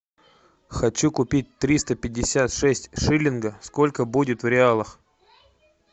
хочу купить триста пятьдесят шесть шиллинга сколько будет в реалах